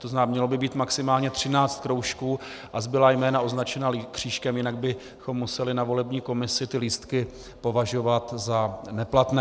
To znamená, mělo by být maximálně 13 kroužků a zbylá jména označená křížkem, jinak bychom museli na volební komisi ty lístky považovat za neplatné.